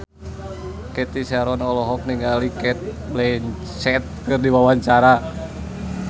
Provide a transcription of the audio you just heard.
Cathy Sharon olohok ningali Cate Blanchett keur diwawancara